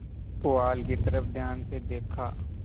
पुआल की तरफ ध्यान से देखा